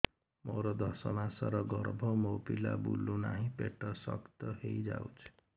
ମୋର ଦଶ ମାସର ଗର୍ଭ ମୋ ପିଲା ବୁଲୁ ନାହିଁ ପେଟ ଶକ୍ତ ହେଇଯାଉଛି